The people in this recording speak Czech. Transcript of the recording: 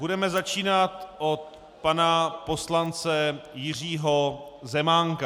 Budeme začínat od pana poslance Jiřího Zemánka.